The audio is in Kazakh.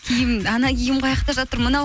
киім киім қаяқта жатыр мынау